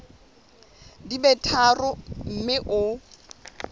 di be tharo mme o